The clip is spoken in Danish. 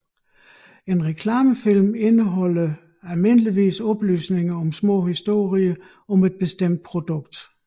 En reklamefilm indeholder almindeligvis oplysninger eller små historier om et bestemt produkt